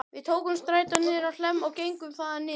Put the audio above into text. Við tókum strætó niður á Hlemm og gengum þaðan niður